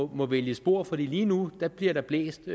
må vælge spor fordi der lige nu bliver blæst